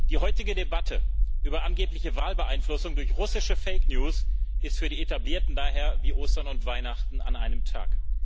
Die heutige Debatte über angebliche Wahlbeeinflussung durch russische Fake News ist für die Etablierten daher wie Ostern und Weihnachten an einem Tag.